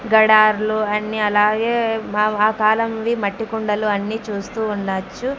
గడార్లు అన్నీ అలాగే మ ఆ కాలం వి మట్టి కుండలు అన్నీ చూస్తూ ఉండచ్చు.